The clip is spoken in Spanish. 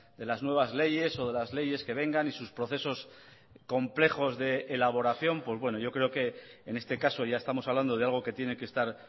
de las nuevas leyes o de las leyes que vengan y sus procesos complejos de elaboración pues bueno yo creo que en este caso ya estamos hablando de algo que tiene que estar